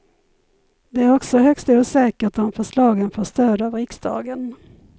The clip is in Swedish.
Det är också högst osäkert om förslagen får stöd av riksdagen.